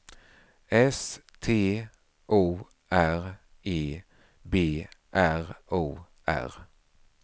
S T O R E B R O R